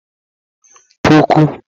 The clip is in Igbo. puku